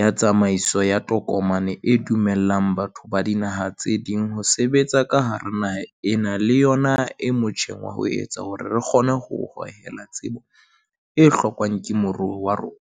ya tsamaiso ya tokomane e dumellang batho ba dinaha tse ding ho sebetsa ka hara naha ena le yona e motjheng ho etsa hore re kgone ho hohela tsebo e hlokwang ke moruo wa rona.